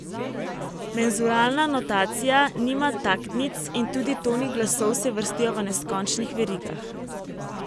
Menzuralna notacija nima taktnic in tudi toni glasov se vrstijo v neskončnih verigah.